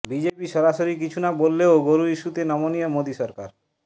BJP সরাসরি কিছু না বললেও গরু ইস্যুতে নমনীয় মোদি সরকার